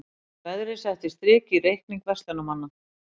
Veðrið setti strik í reikning verslunarmanna